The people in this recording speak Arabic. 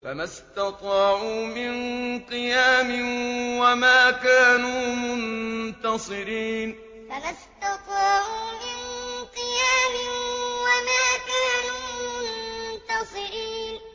فَمَا اسْتَطَاعُوا مِن قِيَامٍ وَمَا كَانُوا مُنتَصِرِينَ فَمَا اسْتَطَاعُوا مِن قِيَامٍ وَمَا كَانُوا مُنتَصِرِينَ